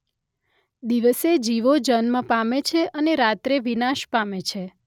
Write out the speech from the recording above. દિવસે જીવો જન્મ પામે છે અને રાત્રે વિનાશ પામે છે.